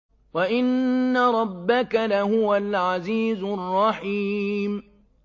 وَإِنَّ رَبَّكَ لَهُوَ الْعَزِيزُ الرَّحِيمُ